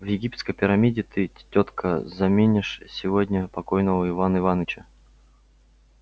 в египетской пирамиде ты тётка заменишь сегодня покойного ивана иваныча